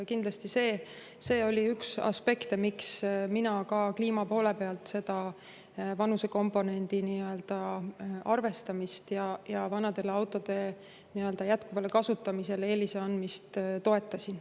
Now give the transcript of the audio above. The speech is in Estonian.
Kindlasti see oli üks aspekte, miks mina ka kliima poole pealt seda vanusekomponendi arvestamist ja vanade autode jätkuvale kasutamisele eelise andmist toetasin.